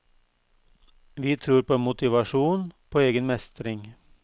Vi tror på motivasjon, på egen mestring.